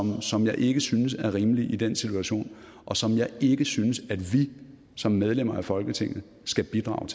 som jeg ikke synes er rimelig i den situation og som jeg ikke synes at vi som medlemmer af folketinget skal bidrage